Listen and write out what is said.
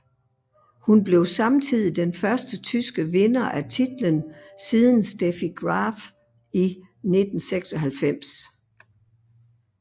Hun blev samtidig den første tyske vinder af titlen siden Steffi Graf i 1996